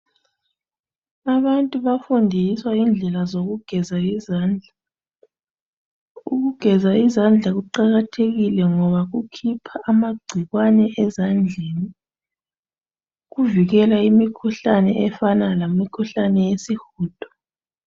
Abantu bafundiswa indlela zokugeza izandla. Ukugeza izandla kuqakathekile ngoba kukhipha amagcikwane ezandleni, kuvikela ukukhipha imikhuhlane efana lesihudo